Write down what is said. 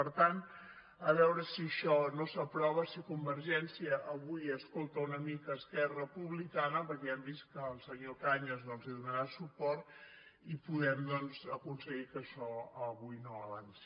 per tant a veure si això no s’aprova si convergència avui escolta una mica esquerra republicana perquè ja hem vist que el senyor cañas hi donarà suport i po·dem doncs aconseguir que això avui no avanci